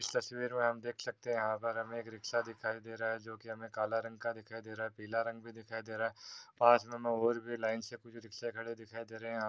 इस तस्वीर में आप देख सकते हैं यहाँ पर हमें एक रिक्शा दिखाई दे रहा है जो कि हमें काला रंग का दिखाई दे रहा है पीला रंग भी दिखाई दे रहे है लाइन से कुछ रिक्शे खड़े दिखाई दे रहे हैं यहाँ पे --